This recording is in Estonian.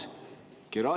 Hea Urmas!